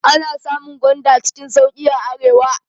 Ana samun gwanda cikin sauƙi a arewa.